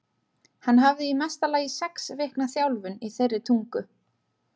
Hann hafði í mesta lagi sex vikna þjálfun í þeirri tungu.